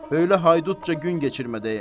Böyülə haydutca gün geçirmədəyəm.